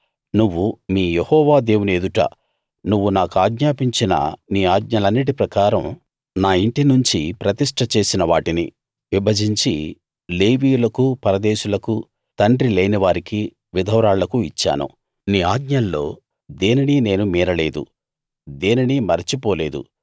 నువ్వు మీ యెహోవా దేవుని ఎదుట నువ్వు నాకాజ్ఞాపించిన నీ ఆజ్ఞలన్నిటి ప్రకారం నా ఇంటి నుంచి ప్రతిష్ట చేసిన వాటిని విభజించి లేవీయులకూ పరదేశులకు తండ్రి లేనివారికీ విధవరాళ్లకూ ఇచ్చాను నీ ఆజ్ఞల్లో దేనినీ నేను మీరలేదు దేనినీ మరచిపోలేదు